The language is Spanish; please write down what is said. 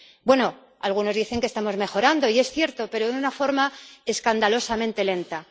Bueno, algunos dicen que estamos mejorando, y es cierto, pero de una forma escandalosamente lenta.